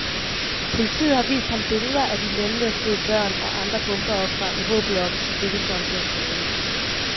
Politiet har vist ham billeder af de lemlæstede børn og andre bombeofre i håbet om, at det ville få ham til at tale.